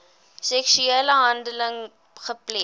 seksuele handeling gepleeg